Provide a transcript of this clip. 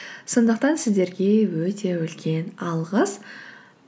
сондықтан сіздерге өте үлкен алғыс